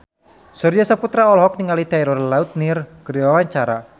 Surya Saputra olohok ningali Taylor Lautner keur diwawancara